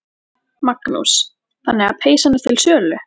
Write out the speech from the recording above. Magnús: Þannig að peysan er til sölu?